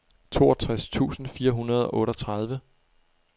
toogtres tusind fire hundrede og otteogtredive